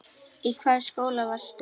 Í hvaða skóla varstu?